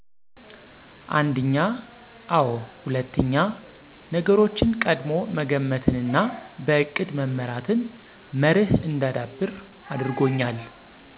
አንድኛ፦ አዎ ሁለትኛ፦ ነገሮችን ቀድሞ መገመትንና በእቅድ መመራትን መርህ እንዳዳብር አድርጎኛል።